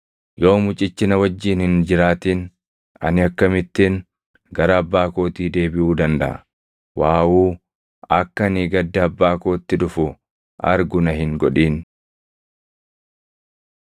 Yoo mucichi na wajjin hin jiraatin ani akkamittin gara abbaa kootii deebiʼuu dandaʼa? Waawuu; akka ani gadda abbaa kootti dhufu argu na hin godhin.”